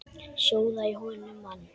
Sjóða í honum mann!